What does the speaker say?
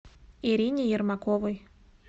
ирине ермаковой